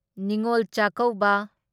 Ningol Chakkouba